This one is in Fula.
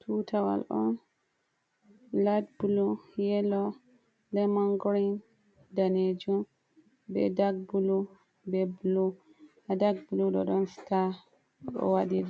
Tutawal on laid bulu, yelo, lemon grin, ɗanejum be dag bulu, be bulu, ha dag bulu ɗo ɗon sta ɗo waɗi